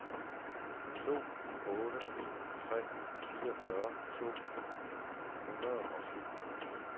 to otte ni tre fireogfyrre to hundrede og syv